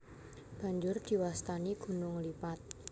Banjur diwastani gunung lipat